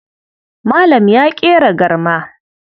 Malam ya ƙera garma.